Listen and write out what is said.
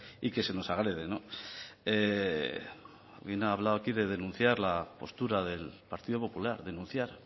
y que se nos agrede alguien ha hablado aquí de denunciar la postura del partido popular denunciar